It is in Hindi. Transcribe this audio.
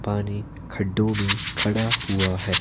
पानी खड्डों में खड़ा हुआ है।